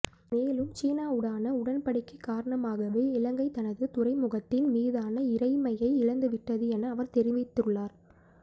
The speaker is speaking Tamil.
மேலும் சீனாவுடான உடன்படிக்கை காரணமாகவே இலங்கை தனது துறைமுகத்தின் மீதான இறைமையை இழந்துவிட்டது என அவர் தெரிவித்துள்ளார்